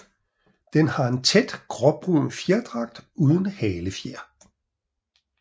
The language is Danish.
Den har en tæt gråbrun fjerdragt uden halefjer